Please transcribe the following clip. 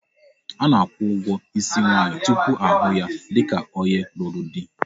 A na-akwụ ụgwọ isi nwaanyị tupu ahụ ya dịka onye lụrụ di.